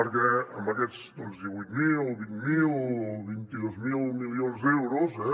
perquè amb aquests doncs divuit mil vint miler o vint dos mil milions d’euros eh